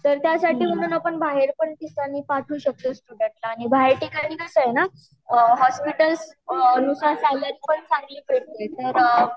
तर त्यासाठी पण आपण बाहेर पण ठिकाणी पण पाठवू शकतो आणि बाहेर ठिकाणी कस आहे न हॉस्पिटल्स नुसार सैलरी पण चांगली भेटते